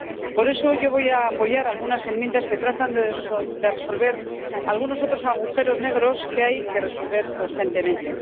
Por eso, yo voy a apoyar algunas enmiendas que tratan de resolver algunos agujeros negros que hay que resolver urgentemente.